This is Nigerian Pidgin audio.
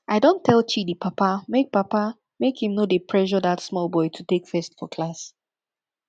i don tell chidi papa make papa make im no dey pressure dat small boy to take first for class